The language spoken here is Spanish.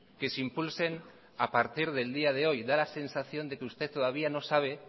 que se impulsen a partir del día de hoy da la sensación de que usted todavía no sabe